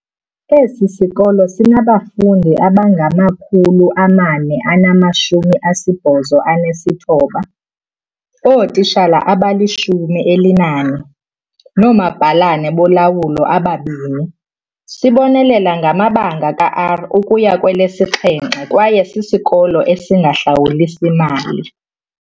Esi sikolo sinabafundi abangama-489, ootitshala abali-14, noomabhalane bolawulo ababini. Sibonelela ngamabanga ka-R ukuya kwelesi-7 kwaye sisikolo esingahlawulisi mali.